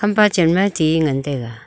empa chen ti ngan tai ga.